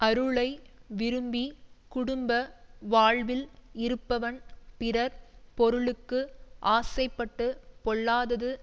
அருளை விரும்பிக் குடும்ப வாழ்வில் இருப்பவன் பிறர் பொருளுக்கு ஆசைப்பட்டுப் பொல்லாதது